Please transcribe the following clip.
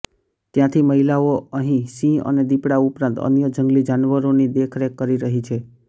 ત્યાંથી મહિલાઓ અહીં સિંહ અને દીપડા ઉપરાંત અન્ય જંગલી જાનવરોની દેખરેખ કરી રહી છે